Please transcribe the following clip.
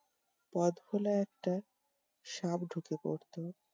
পথ ভোলা একটা সাপ ঢুকে পড়তো।